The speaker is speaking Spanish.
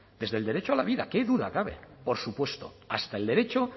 desde el derecho a la vida qué duda cabe por supuesto hasta el derecho